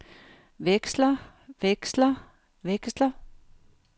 veksler veksler veksler